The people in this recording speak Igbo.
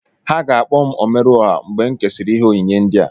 Ha ga-akpọ m "Omeruọhà" mgbè m kesịrị ìhé ònyìnyé ndia